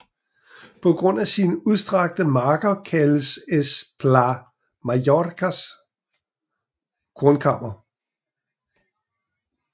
På grund af sine udstrakte marker kaldes Es Plà Mallorcas kornkammer